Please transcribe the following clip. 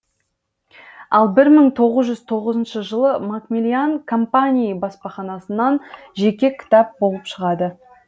ал бір мың тоғыз жүз тоғызыншы жылы макмиллиан компании баспаханасынан жеке кітап болыпшығады